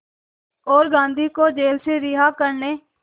और गांधी को जेल से रिहा करने